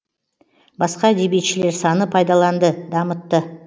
басқа әдебиетшілер саны пайдаланды дамытты